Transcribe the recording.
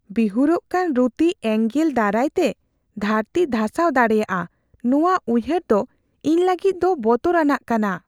ᱵᱤᱦᱩᱨᱚᱜ ᱠᱟᱱ ᱨᱩᱛᱤ ᱮᱸᱜᱮᱞ ᱫᱟᱨᱟᱭᱛᱮ ᱫᱷᱟᱹᱨᱛᱤ ᱫᱷᱟᱥᱟᱣ ᱫᱟᱲᱮᱭᱟᱜᱼᱟ ᱱᱚᱣᱟ ᱩᱭᱦᱟᱹᱨ ᱫᱚ ᱤᱧ ᱞᱟᱹᱜᱤᱫ ᱫᱚ ᱵᱚᱛᱚᱨᱟᱱᱟᱜ ᱠᱟᱱᱟ ᱾